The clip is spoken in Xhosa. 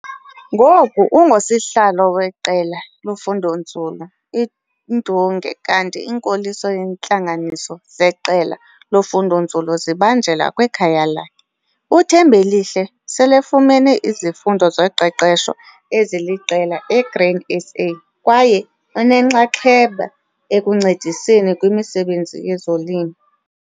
Ngoku ungusihlalo weQela loFundonzulu iNdunge kanti inkoliso yeentlanganiso zeqela lofundonzulu zibanjelwa kwikhaya lakhe. UThembelihle selefumene izifundo zoqeqesho eziliqela e-Grain SA kwaye unenxaxheba ekuncediseni kwimisebenzi yezolimo.